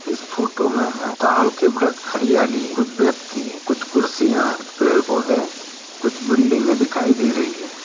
इस फोटो में हमे ताड़ के वृक्ष हरियाली कुछ व्यक्ति कुछ कुर्सियां कुछ पेड़ पौधे कुछ बिल्डिंगें दिखाई दे रही है।